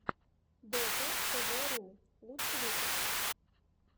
дотатэвэру лучший выпуск